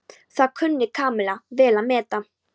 Það kunni Kamilla vel að meta.